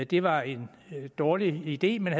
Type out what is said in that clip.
det var en dårlig idé man